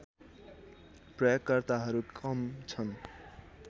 प्रयोगकर्ताहरू कम छन्